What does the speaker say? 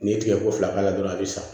N'i ye tigɛko fila k'a la dɔrɔn a bɛ san